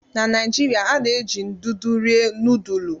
Na Naijiria, a na-eji ndụdụ rie nudulu.